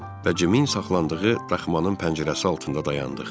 Və Cimin saxlandığı daxmanın pəncərəsi altında dayandıq.